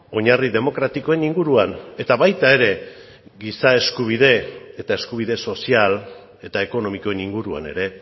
oinarri demokratikoen inguruan eta baita ere giza eskubide eta eskubide sozial eta ekonomikoen inguruan ere